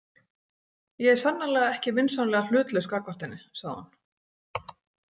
Ég er sannarlega ekki vinsamlega hlutlaus gagnvart henni, sagði hún.